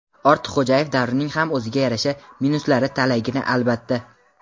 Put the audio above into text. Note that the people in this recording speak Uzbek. Ortiqxo‘jayev davrining ham o‘ziga yarasha "minus"lari talaygina, albatta.